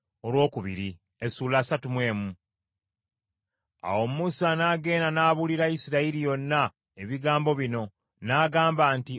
Awo Musa n’agenda n’abuulira Isirayiri yonna ebigambo bino, n’agamba nti,